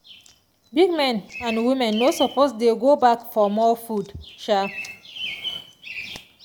big men and women no suppose dey go back for more food. um